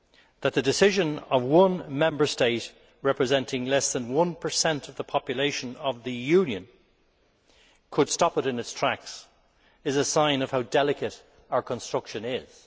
That the decision of one Member State, representing less than 1 of the population of the Union, could stop it in its tracks is a sign of how delicate our construction is.